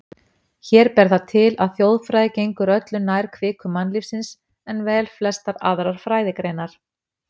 Hér ber það til, að þjóðfræði gengur öllu nær kviku mannlífsins en velflestar aðrar fræðigreinar.